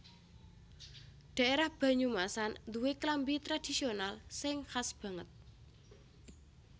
Dhaérah Banyumasan nduwé klambi tradhisional sing khas banget